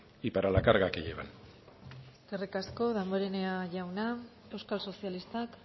y para la carga que llevan eskerrik asko damborenea jauna euskal sozialistak